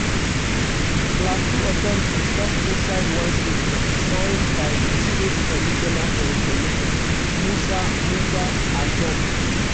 plateau authorities tok inside one statement digned by di state commissioner for information musa musa ashoms.